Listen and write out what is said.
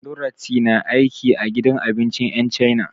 Dorathy na aiki a gidan abincin 'yan cana.